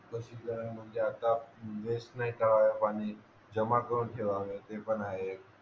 कशी करावी म्हणजे आता वेस्ट नाही करावे पाणी जमा करून ठेवावे ते पण आहे एक